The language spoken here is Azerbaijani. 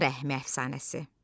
Ana rəhmi əfsanəsi.